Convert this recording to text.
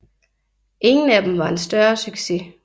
Ingen af dem var en større succes